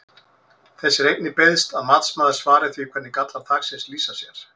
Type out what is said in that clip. Þess er einnig beiðst að matsmaður svari því hvernig gallar þaksins lýsa sér?